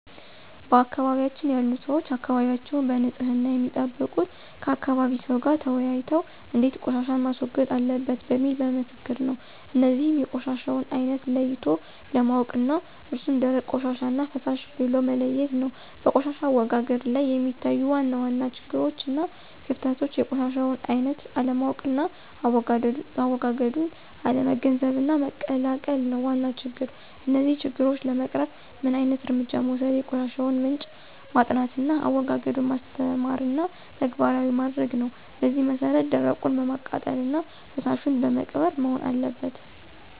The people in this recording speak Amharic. በአካባቢያችን ያሉ ሰዎች አካባቢያቸዉን በንፅህና የሚጠብቁት ከአካባቢ ሰው ጋር ተወያይተው እንዴት ቆሻሻን ማስወገድ አለበት በሚል በምክክር ነው። እነዚህንም የቆሻሻውን አይነት ለይቶ ማወቅ ነው እሱም ደረቅ ቆሻሻና ፈሳሽ ብሎ መለየት ነው። በቆሻሻ አወጋገድ ላይ የሚታዩ ዋና ዋና ችግሮችና ክፍተቶች የቆሻሻውን አይነት አለማወቅና አዎጋገዱን አለመገንዘብና መቀላቀል ነው ዋና ችግር። እነዚህን ችግሮች ለመቅረፍ ምን ዓይነት እርምጃ መወሰድ የቆሻሻውን ምንጭ ማጥናትና አዎጋገዱን ማስተማርና ተግባራዊ ማድረግ ነው በዚህ መሰረት ደረቁን በማቃጠልና ፈሳሹን በመቅበር መሆን አለበት።